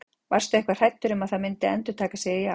Varstu eitthvað hræddur um að það myndi endurtaka sig í ár?